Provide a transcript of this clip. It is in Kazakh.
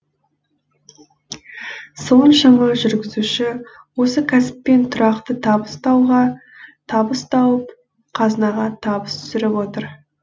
соншама жүргізуші осы кәсіппен тұрақты табыс тауып қазынаға табыс түсіріп отыр